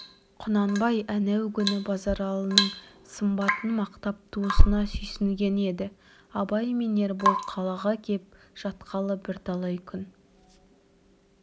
құнанбай әнеугүні базаралының сымбатын мақтап туысына сүйсінген еді абай мен ербол қалаға кеп жатқалы бірталай күн